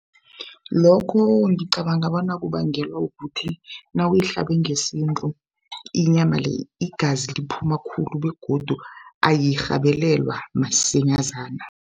Lokho ngicabanga bona kubangelwa kuthi nawuyihlabe ngesintu inyama le igazi liphuma khulu begodu ayirhabelelwa msinyazana.